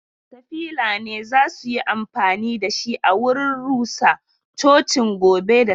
katafila ne za su yi amfani da shi a wurin rusa cocin gobe da safe.